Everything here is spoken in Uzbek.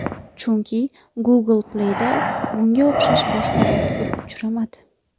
Chunki Google Play’da bunga o‘xshash boshqa dastur uchramadi.